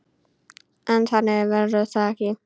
En þannig verður það ekki.